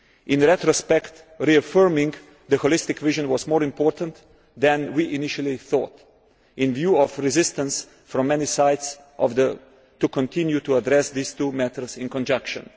In retrospect, reaffirming the holistic vision was more important than we initially thought in view of the resistance from many sides to continuing to address these two matters in conjunction.